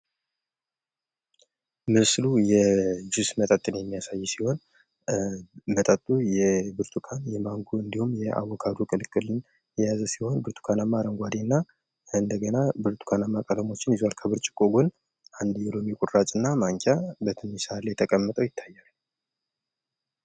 ምስሉ የጁስ መጠጥን የሚያሳይ ሲሆን መጠጡም የብርቱካን ፣የማንጎ፣ የአቡካዶ ቅልቅልን የያዘ ሲሆን ብርቱካናማ ፣ አረንጓዴና ከእንደገና ብርቱካንናማ ቀለሞችን ይዟል ከብርጭቆ ጎን አንድ የሎሚ ቁራጭና ማንኪያ በትንሽ ሰሀን ላይ ተቀምጦ ይታያል።